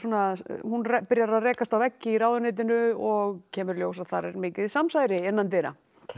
hún byrjar að rekast á veggi í ráðuneytinu og kemur í ljós að þar er mikið samsæri innan dyra